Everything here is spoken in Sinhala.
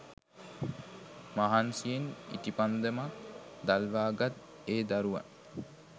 මහන්සියෙන් ඉටිපන්දමක් දල්වා ගත් ඒ දරුවන්